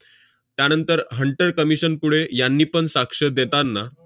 त्यानंतर hunter commission पुढे यांनीपण साक्ष देताना